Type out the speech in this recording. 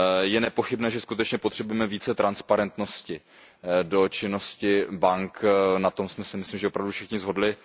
Je nepochybné, že skutečně potřebujeme více transparentnosti do činnosti bank, na tom jsme se myslím opravdu všichni shodli.